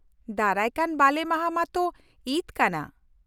-ᱫᱟᱨᱟᱭᱠᱟᱱ ᱵᱟᱞᱮᱢᱟᱦᱟ ᱢᱟᱛᱚ ᱤᱫᱽ ᱠᱟᱱᱟ ᱾